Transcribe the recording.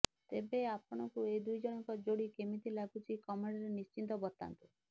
ତେବେ ଆପଣଙ୍କୁ ଏ ଦୁଇଜଣଙ୍କ ଯୋଡି କେମିତି ଲାଗୁଛି କମେଣ୍ଟରେ ନିଶ୍ଚିତ ବତାନ୍ତୁ